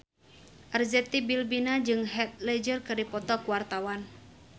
Arzetti Bilbina jeung Heath Ledger keur dipoto ku wartawan